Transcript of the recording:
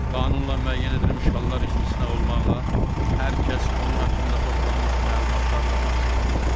Qanunla müəyyən edilmiş hallar istisna olmaqla, hər kəs onun haqqında toplanmış məlumatlarla tanış ola bilər.